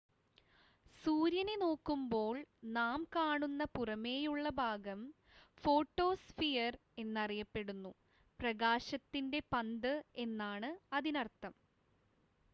"സൂര്യനെ നോക്കുമ്പോൾ നാം കാണുന്ന പുറമേയുള്ള ഭാഗം ഫോട്ടോസ്ഫിയർ എന്നറിയപ്പെടുന്നു "പ്രകാശത്തിന്റെ പന്ത്" എന്നാണ് അതിനർത്ഥം.